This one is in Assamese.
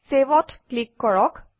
Save অত ক্লিক কৰক